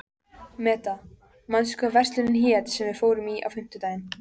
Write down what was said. Meda, manstu hvað verslunin hét sem við fórum í á fimmtudaginn?